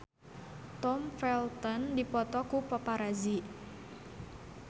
Tom Felton dipoto ku paparazi